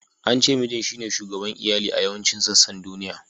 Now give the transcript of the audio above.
An ce Mijin shine shugaban Iyali a yawancin sassan duniya.